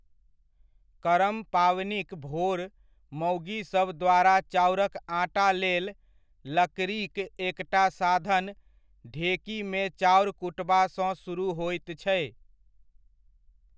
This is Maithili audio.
करम पावनिक भोर मौगीसभ द्वारा चाउरक आटा लेल लकड़ीक एकटा साधन, ढेकीमे चाउर कुटबासँ सुरुह होइत छै।